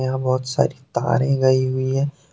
हां बहुत सारी तारे गई हुई है।